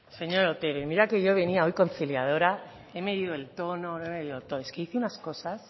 señor otero y mira que yo venía hoy conciliadora he medido el tono he medido todo es que dice unas cosas